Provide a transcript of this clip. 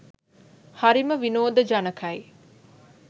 හරිම විනෝද ජනකයි.